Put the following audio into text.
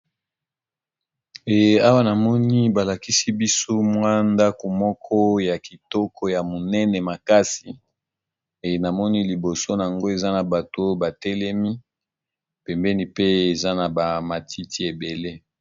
Awa namoni balakisi bisumwa ndako moko ya kitoko ya monene makasi e namoni liboso yango eza na bato batelemi pembeni pe eza na ba matiti ebele.